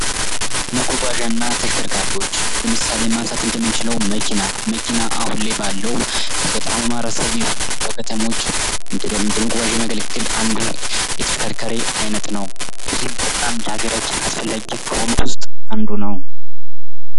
መጓጓዣ እና ተሽከርካሪዎች ለምሳሌ ማንሳት እንደምንችለው መኪና መኪና አሁን ላይ ባለው በገጠሩ ማህበረሰብ በከተሞች ለመጓጓነት የሚያገለግል አንዱ የተሽከርካሪ አይነት ነው። ይህም በጣም ለሃገራችን አስፈላጊ ከሆኑት ውስጥ አንዱ ነው።